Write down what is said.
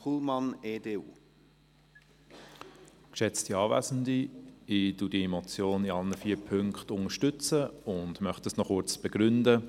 Ich unterstütze diese Motion in allen vier Punkten und möchte das noch kurz begründen.